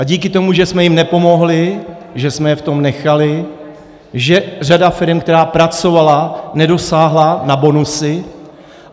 A díky tomu, že jsme jim nepomohli, že jsme je v tom nechali, že řada firem, která pracovala, nedosáhla na bonusy.